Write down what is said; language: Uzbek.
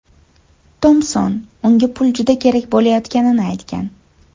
Tompson unga pul juda kerak bo‘layotganini aytgan.